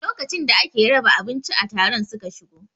A lokacin da ake raba abinci a taron su ka shigo